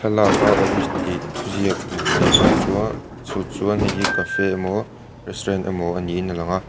thlalak a awris tih thuziak hmuh theih a tang chuan chu chuan hei hi cafe emaw restaurant emaw ni in a lang a.